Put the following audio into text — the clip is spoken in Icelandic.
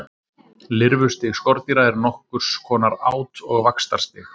Lirfustig skordýra er nokkurs konar át- og vaxtarstig.